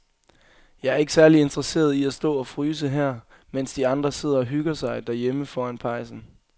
Jeg er ikke særlig interesseret i at stå og fryse her, mens de andre sidder og hygger sig derhjemme foran pejsen.